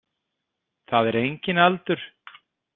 Það er enginn aldur.